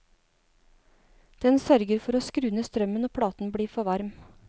Den sørger for å skru ned strømmen når platen blir for varm.